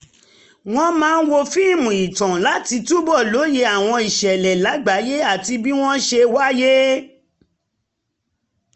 wọ́n máa ń wo fíìmù ìtàn láti túbọ̀ lóye àwọn ìṣẹ̀lẹ̀ lágbàáyé àti bí wọ́n ṣe wáyé